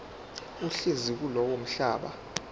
ohlezi kulowo mhlaba